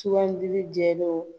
Sugandili jɛlen